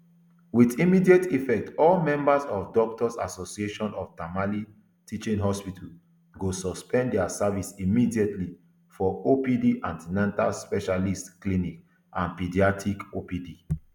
wit immediate effect all members of doctors association of tamale teaching hospital go suspend dia service indefinitely for opd an ten atal specialist clinic and paediatric opd